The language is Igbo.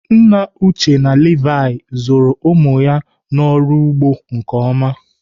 Nna Uche na Levi zụrụ ụmụ ya n'ọrụ ugbo nke ọma.